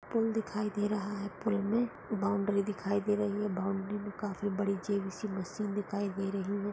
Pool दिखाई दे रहा है। पूल मे बाउंड्री दिखाई दे रही है। बाउंड्री मे काफी बड़ी सी हैवि मशीन दिखाई दे रही है।